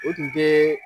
O tun tɛ